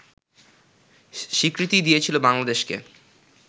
স্বীকৃতি দিয়েছিল বাংলাদেশকে